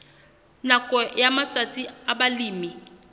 nakong ya matsatsi a balemi